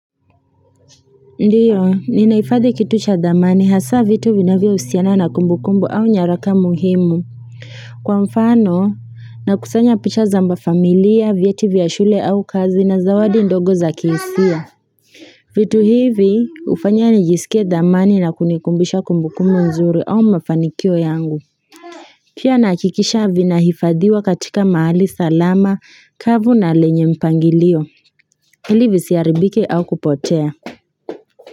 Ndiyo, ninahifadhi kitu cha dhamani hasa vitu vinavyohusiana na kumbukumbu au nyaraka muhimu Kwa mfano nakusanya picha za familia, vyeti vya shule au kazi na zawadi ndogo za kihisia vitu hivi ufanya nijisike dhamani na kunikumbisha kumbukumbu nzuri au mafanikio yangu Pia nahakikisha vinahifadhiwa katika mahali salama, kavu na lenye mpangilio, ili visiaribike au kupotea.